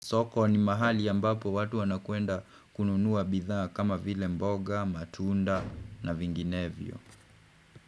Soko ni mahali ambapo watu wanakwenda kununua bidhaa kama vile mboga, matunda na vinginevyo.